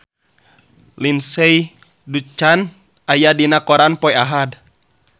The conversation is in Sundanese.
Lindsay Ducan aya dina koran poe Ahad